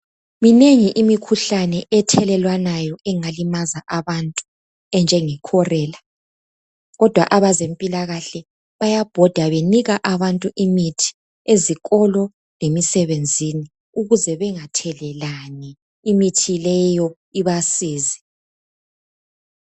minengi imikhuhlane ethelelwanayo engalimaza abantu enjenge kholela kodwa abezempilakahle bayabhoda benika abantu imithi ezikolo lemisebenzini ukuze bengathelelani imithi leyo ibasize.